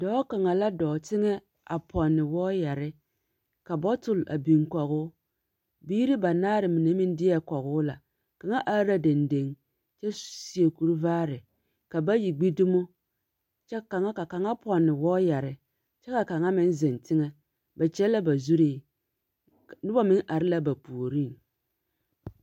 Dͻͻ kaŋa la dͻͻŋ teŋԑ a pͻnne wͻͻyԑre, ka bͻtole a biŋ kͻge o. biiri banaare mine meŋ deԑ kͻge o la. Kaŋa are la dendeŋ kyԑ seԑ kuri vaare ka bayi gbi dumo kyԑ kaŋa ka kaŋa pͻnne wͻͻyԑre kyԑ ka kaŋa meŋ zeŋ teŋԑ. Ba kyԑ la ba zuree. Ka, noba meŋ are la ba puoriŋ.